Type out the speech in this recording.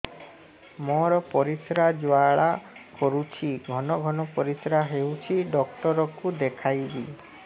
ମୋର ପରିଶ୍ରା ଜ୍ୱାଳା କରୁଛି ଘନ ଘନ ପରିଶ୍ରା ହେଉଛି ଡକ୍ଟର କୁ ଦେଖାଇବି